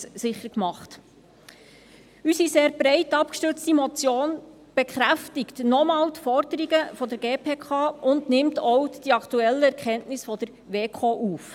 Unsere sehr breit abgestützte Motion bekräftigt noch einmal die Forderungen der GPK und nimmt auch die aktuellen Erkenntnisse der WEKO auf.